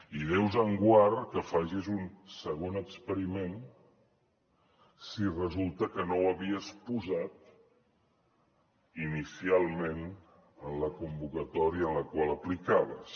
i déu us en guard que facis un segon experiment si resulta que no ho havies posat inicialment en la convocatòria en la qual aplicaves